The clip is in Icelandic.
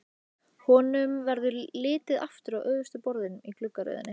Honum verður litið aftur á öftustu borðin í gluggaröðinni.